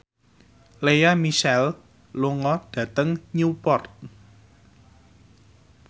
Lea Michele lunga dhateng Newport